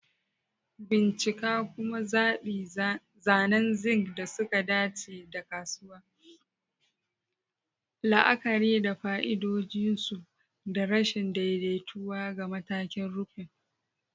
Bincika kuma zaɓi zanen zinc da suka dace daga kasuwa, la'akari da fa'idodin su da rashin daidaituwa ga matakin rufin.